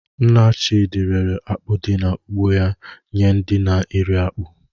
Nna Chidi rere akpụ di na ugbo ya nye ndi na-eri akpu.